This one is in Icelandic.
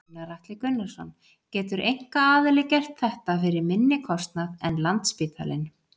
Gunnar Atli Gunnarsson: Getur einkaaðili gert þetta fyrir minni kostnað en Landspítalinn?